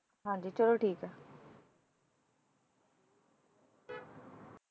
ਹਾਂਜੀ ਚਲੋ ਠੀਕ ਹੈ।